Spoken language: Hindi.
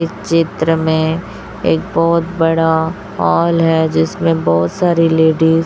इस चित्र में एक बहोत बड़ा हॉल हैं जिसमें बहोत सारी लेडिज --